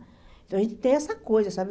Então, a gente tem essa coisa, sabe?